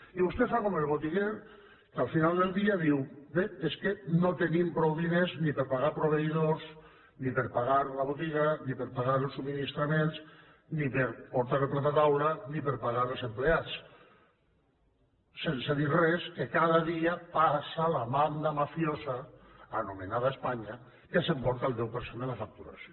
i vostè fa com el botiguer que al final del dia diu bé és que no tenim prou diners ni per pagar proveïdors ni per pagar la botiga ni per pagar els subministraments ni per portar el plat a taula ni per pagar els empleats sense dir res que cada dia passa la banda mafiosa anomenada espanya que s’emporta el deu per cent de la facturació